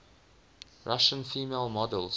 russian female models